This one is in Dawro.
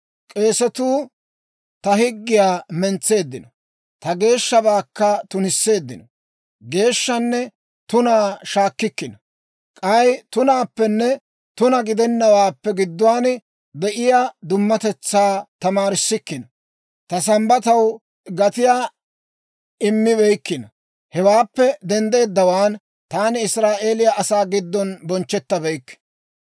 K'eesetuu ta higgiyaa mentseeddino; ta geeshshabaakka tunisseeddino. Geeshshaanne tunaa shaakkikkino; k'ay tunaappenne tuna gidenawaappe gidduwaan de'iyaa dummatetsaa tamaarissikkino; ta Sambbataw gatiyaa immibeykkino. Hewaappe denddeeddawaan, taani Israa'eeliyaa asaa giddon bonchchettabeykke.